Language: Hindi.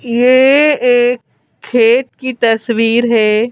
ये एक खेत की तस्वीर है।